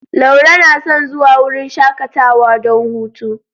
Laure na son zuwa wurin shakatawa don hutu.